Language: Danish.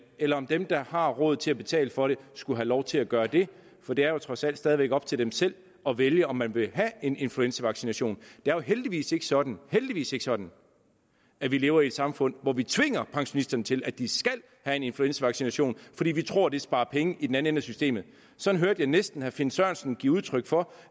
eller om dem der har råd til at betale for det skulle have lov til at gøre det for det er jo trods alt stadig op til dem selv at vælge om de vil have en influenzavaccination det jo heldigvis ikke sådan heldigvis ikke sådan at vi lever i et samfund hvor vi tvinger pensionisterne til at de skal have en influenzavaccination fordi vi tror at det sparer penge i den anden ende af systemet sådan hørte jeg næsten herre finn sørensen give udtryk for